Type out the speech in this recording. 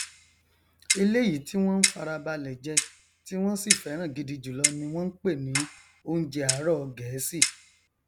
eléyìí tí wọn n farabalẹ jẹ tí wọn sì fẹràn gidi jùlọ ni wọn n pè ní ọúnjẹ àárọ gẹẹsì